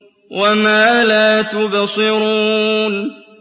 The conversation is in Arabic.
وَمَا لَا تُبْصِرُونَ